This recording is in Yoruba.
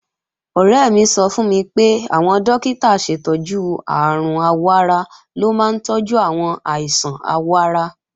Ọ̀rẹ́ mi sọ fún mi pé àwọn dókítà aṣètọ́jú àrùn àwọ̀-ara ló máa ń tọ́jú àwọn àìsàn àwọ̀ ara